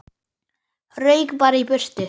Rauk bara í burtu.